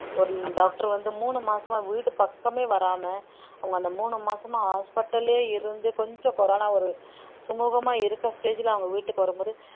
ஒரு doctor வந்து மூணு மாசமா வீட்டு பக்கமே வராம அவங்க அந்த மூணு மாசமா hospital லயே இருந்து கொஞ்சம் corona ஒரு சுமுகமா இருக்கற stage ல அவங்க வீட்டுக்கு வரும்போது